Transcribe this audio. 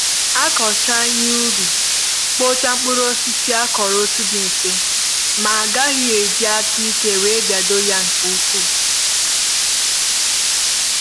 akụcha ihe ubi, kpuchie mkpụrụ osisi akuru otu dị mfe ,ma agaghị e ji aka ike wee biado ya nke ukwu